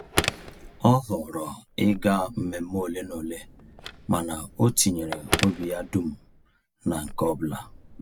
Ọ họọrọ ịga mmemme ole na ole mana o tinyere obi ya dum na nke ọbụla.